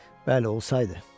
Bəli, olsaydı.